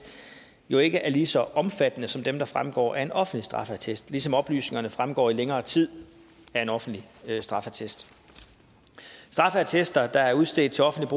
jo ikke er lige så omfattende som dem der fremgår af en offentlig straffeattest ligesom oplysningerne fremgår i længere tid af en offentlig straffeattest straffeattester der er udstedt til offentligt